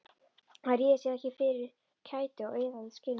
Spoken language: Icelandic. Hann réði sér ekki fyrir kæti og iðaði í skinninu.